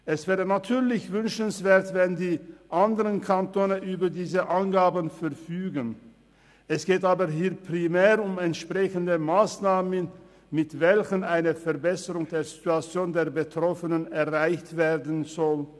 Es wäre natürlich wünschenswert, die anderen Kantone verfügten über diese Angaben, aber hier geht es primär um entsprechende Massnahmen, mit welchen eine Verbesserung der Situation der Betroffenen erreicht werden soll.